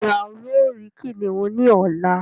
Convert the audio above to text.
Béèni a yóò ríi kìnìún ní ọlá.